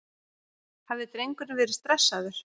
Hafði drengurinn verið stressaður?